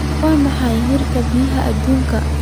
Waa maxay heerka biyaha adduunka?